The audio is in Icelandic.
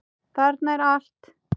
Þarna er allt.